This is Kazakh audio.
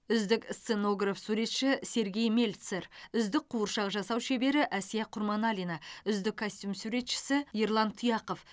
үздік сценограф суретші сергей мельцер үздік қуыршақ жасау шебері әсия құрманалина үздік костюм суретшісі ерлан тұяқов